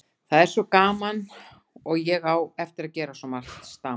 Það er svo gaman og ég á eftir að gera svo margt. stamaði